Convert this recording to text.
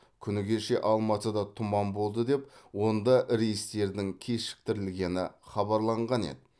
күні кеше алматыда тұман болды деп онда рейстердің кешіктірілгені хабарланған еді